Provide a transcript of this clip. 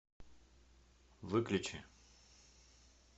выключи